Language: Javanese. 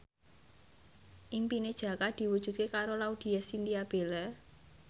impine Jaka diwujudke karo Laudya Chintya Bella